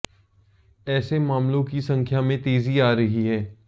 ऐसे मामलों की संख्या में तेजी आ रही है